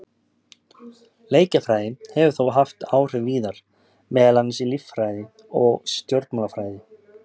Leikjafræði hefur þó haft áhrif víðar, meðal annars í líffræði og stjórnmálafræði.